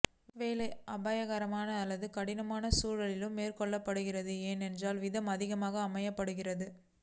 வேலை அபாயகரமான அல்லது கடினமான சூழ்நிலையில் மேற்கொள்ளப்படுகிறது என்றால் வீதம் அதிகமாக அமைக்கப்படுகிறது